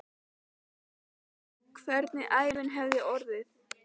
Ég hugsa um hvernig ævin hefði orðið.